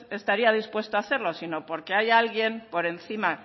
estaría dispuesto a hacerlo sino porque hay alguien por encima